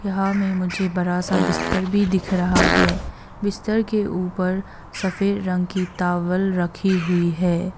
यहाँ मे मुझे बड़ा सा बिस्तर भी दिख रहा है बिस्तर के ऊपर सफेद रंग की टॉवल रखी हुई है।